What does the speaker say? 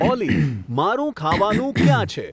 ઓલી મારું ખાવાનું ક્યાં છે